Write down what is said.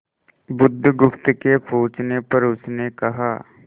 बुधगुप्त के पूछने पर उसने कहा